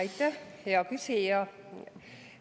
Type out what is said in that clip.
Aitäh, hea küsija!